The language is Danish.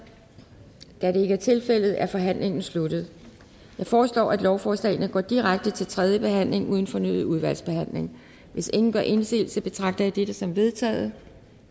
da det ikke er tilfældet er forhandlingen sluttet jeg foreslår lovforslagene går direkte til tredje behandling uden fornyet udvalgsbehandling hvis ingen gør indsigelse betragter jeg dette som vedtaget